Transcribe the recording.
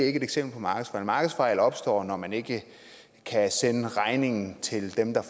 ikke et eksempel på markedsfejl markedsfejl opstår når man ikke kan sende regningen til dem der